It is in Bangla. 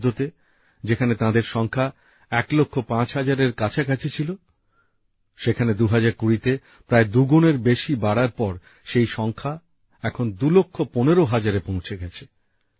২০১৪তে যেখানে তাঁদের সংখ্যা ১ লক্ষ ৫ হাজারের কাছাকাছি ছিল সেখানে ২০২০ তে প্রায় দুগুণের বেশি বাড়ার পর সেই সংখ্যা এখন ২ লক্ষ ১৫ হাজারে পৌঁছে গেছে